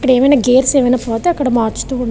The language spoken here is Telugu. ఇక్కడ ఏమైనా గేర్స్ అవి పోతూ ఉంటే అవి మార్చుతూ --